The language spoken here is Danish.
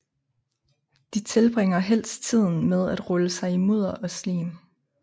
De tilbringer helst tiden med at rulle sig i mudder og slim